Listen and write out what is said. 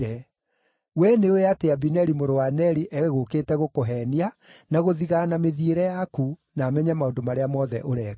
Wee nĩũũĩ atĩ Abineri mũrũ wa Neri egũũkĩte gũkũheenia na gũthigaana mĩthiĩre yaku, na amenye maũndũ marĩa mothe ũreka.”